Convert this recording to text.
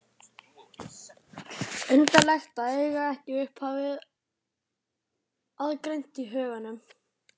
Undarlegt að eiga ekki upphafið aðgreint í huganum.